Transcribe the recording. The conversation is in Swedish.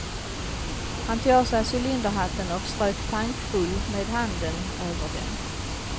Han tog av sig cylinderhatten och strök tankfullt med handen över den.